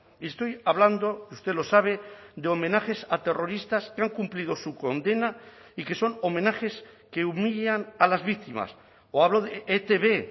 y estoy hablando usted lo sabe de homenajes a terroristas que han cumplido su condena y que son homenajes que humillan a las víctimas o hablo de etb